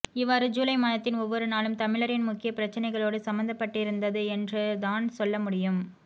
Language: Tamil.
இவ்வாறு ஜூலை மாதத்தின் ஒவ்வொரு நாளும் தமிழரின் முக்கிய பிரச்சினைகளோடு சம்மந்தப்பட்டிருந்தது என்றுதான் சொல்லமுடியும்